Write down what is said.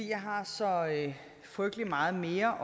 jeg har så frygtelig meget mere